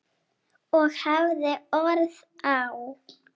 Og hafði orð á.